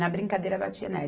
Na brincadeira, batia nela.